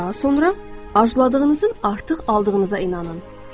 Daha sonra arzuladığınızın artıq aldığınıza inanın.